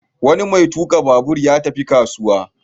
Wani mai tuƙa babur ya tafi kasuwa.